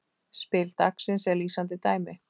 Spil dagsins er lýsandi dæmi.